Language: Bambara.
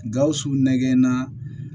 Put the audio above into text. Gawusu nɛgɛ na